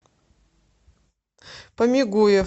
помигуев